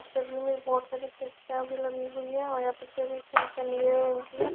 बहुत सारी खिड़कियां भी लगी हुई हैं और यहां पे सभी खिड़कियां नीले रंग की हैं।